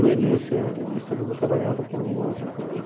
No início, é no início todo mundo trabalhava com alguma outra coisa.